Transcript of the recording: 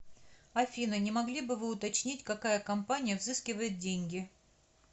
афина не могли бы вы уточнить какая компания взыскивает деньги